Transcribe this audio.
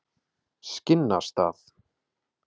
Skinnastað